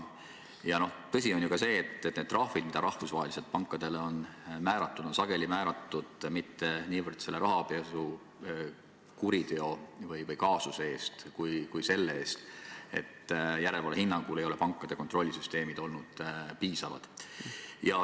Ja tõsi on ka see, et trahvid, mis rahvusvaheliselt pankadele on määratud, ei ole sageli määratud mitte niivõrd rahapesukuriteo või -kaasuse eest, kuivõrd selle eest, et järelevalve hinnangul pole pankade kontrollsüsteemid olnud piisavad.